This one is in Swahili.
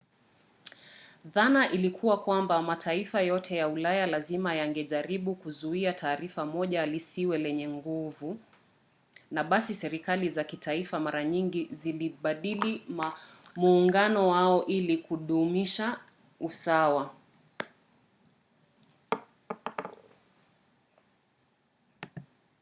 dhana ilikuwa kwamba mataifa yote ya ulaya lazima yangejaribu kuzuia taifa moja lisiwe lenye nguvu na basi serikali za kitaifa mara nyingi zilibadili muungano wao ili kudumisha usawa